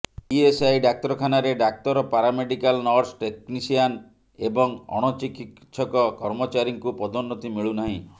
ESI ଡାକ୍ତରଖାନାରେ ଡାକ୍ତର paramedical nurse technician ଏବଂ ଅଣଚିକିତ୍ସକ କର୍ମଚାରୀଙ୍କୁ ପଦୋନ୍ନତି ମିଳୁ ନାହିଁ